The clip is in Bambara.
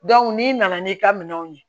n'i nana n'i ka minɛnw ye